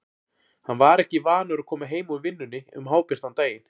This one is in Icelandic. Hann var ekki vanur að koma heim úr vinnunni um hábjartan daginn.